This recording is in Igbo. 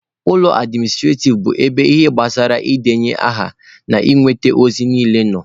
Ụlọ administrativ bụ ebe ihe gbasara ị debanye aha na inweta ozi niile nọ.